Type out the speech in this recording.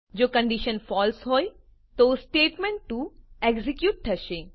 જો condition false હોય તો સ્ટેટમેન્ટ2 એક્ઝેક્યુટ થશે